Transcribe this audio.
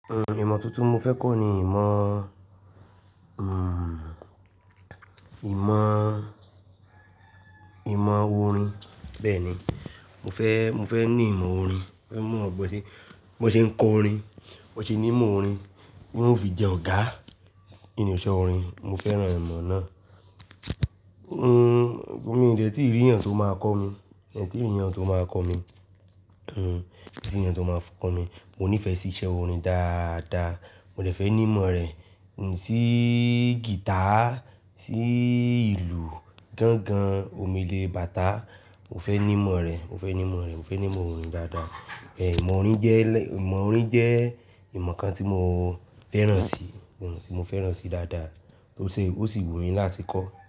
Ìmọ̀ tuntun mo fẹ́ kọ́ ni ìmọ̀, ìmọ̀, ìmọ̀ orin bẹ́ẹ̀ ni. Mo fẹ́, mo fẹ́ ní ìmọ̀ orin, mo fẹ́ mọ bí wọ́n ṣe, bọ́n ṣe ń kọ orin, bọ́n ṣe ní ìmọ̀ orin, tí wọ́n fi jẹ ọ̀gá nínú iṣẹ́ orin. Mo fẹ́ràn ìmọ̀ náà. Hmm, mo dẹ̀ tí rí yàn tó máa kọ́ mi, mo lè tí rí yàn tó máa kọ́ mi, hmm, mo ti rí yàn tó máa kọ́ mi. Mo nífẹ̀ẹ́ sí iṣẹ́ orin dáadáa, mo lè fẹ́ ní ìmọ̀ rẹ̀, sí guitar, sí ìlù gángan, omele, bàtà. Mo fẹ́ ní ìmọ̀ rẹ̀, mo fẹ́ ní ìmọ̀ rẹ̀, mo fẹ́ ní ìmọ̀ orin dáadáa. Ìmọ̀ orin jẹ́ lẹ́, ìmọ̀ orin jẹ́ ìmọ̀ kan tí mo fẹ́ràn si, ìmọ̀ tí mo fẹ́ràn si dáadáa, ó sì, ó sì wù mí láti kọ́ ọ́.